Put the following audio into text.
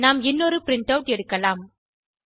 நாம் இன்னொரு print out எடுக்கலாம்